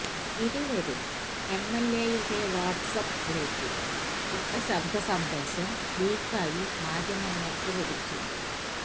ഇരുവരും എഎംഎംഎയുടെ WhatsApp ഗ്രൂപ്പിൽ ഇട്ട ശബ്ദസന്ദേശം ലീക്കായി മാധ്യമങ്ങൾക്ക് ലഭിച്ചു